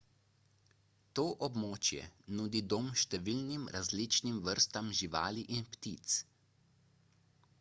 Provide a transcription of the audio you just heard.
to območje nudi dom številnim različnim vrstam živali in ptic